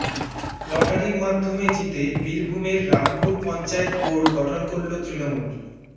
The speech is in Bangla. লটারির মাধ্যমে জিতে বীরভুমের রামপুর পঞ্চায়েত বোর্ড গঠন করল তৃণমূল